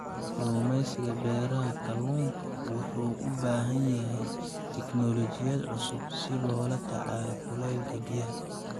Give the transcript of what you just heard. Kalluumaysiga beeraha kalluunka wuxuu u baahan yahay tiknoolajiyad cusub si loola tacaalo kuleylka biyaha.